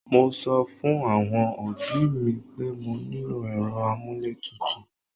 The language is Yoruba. Mo sọ fún àwọn òbí mi pé mo nílò èrò amuletutu